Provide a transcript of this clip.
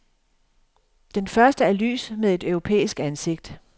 Den første er lys med et europæisk ansigt.